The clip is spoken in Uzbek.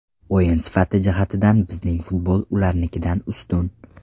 O‘yin sifati jihatidan bizning futbol ularnikidan ustun.